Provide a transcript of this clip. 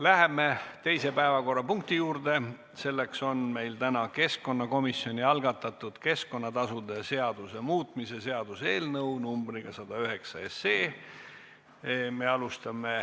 Läheme teise päevakorrapunkti juurde, selleks on meil täna keskkonnakomisjoni algatatud keskkonnatasude seaduse muutmise seaduse eelnõu numbriga 109.